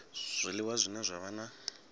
zwiliwa zwine zwa vha na